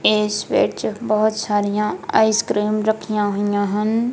ਇਸ ਵਿੱਚ ਬਹੁਤ ਸਾਰੀਆ ਆਈਸ ਕ੍ਰੀਮ ਰੱਖੀਆ ਹੋਈਆ ਹਨ।